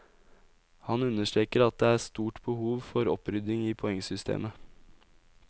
Han understreker at det er stort behov for opprydding i poengsystemet.